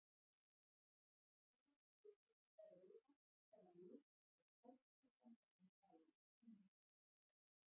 Spyrjandi vill einnig fá að vita hvaða lyf sé stærsti samkeppnisaðili penisilíns.